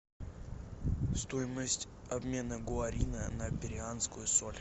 стоимость обмена гуарина на перуанскую соль